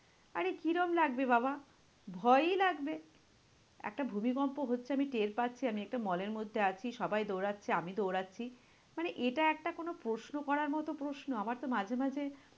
আরে কিরম লাগবে বাবা, ভয়ই লাগবে। একটা ভূমিকম্প হচ্ছে আমি টের পাচ্ছি, আমি একটা mall এর মধ্যে আছি, সবাই দৌঁড়াচ্ছে, আমি দৌঁড়াচ্ছি, মানে এটা একটা কোনো প্রশ্ন করার মতো প্রশ্ন? আমার তো মাঝে মাঝে